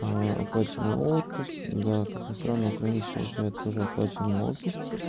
оплачиваемый отпуск да как ни странно украинец получает тоже оплачиваемый отпуск